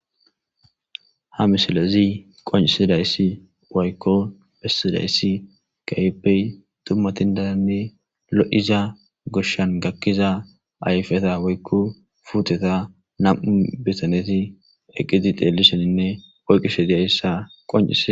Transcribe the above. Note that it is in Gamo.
Ha misilezi qoncisidayssi woykko bessidayssi kaypey tummatindaranne lo'iza goshshan gakkiza ayfeta woykko fuuteta nam7u bitaneti eqqiti xeellishoninne oyqqishe diaissa qonci.